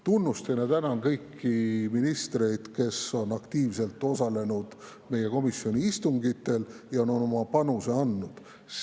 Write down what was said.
Tunnustan ja tänan kõiki ministreid, kes on aktiivselt osalenud meie komisjoni istungitel ja oma panuse andnud.